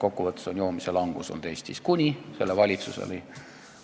Kokkuvõttes vähenes Eestis joomine kuni selle valitsuseni.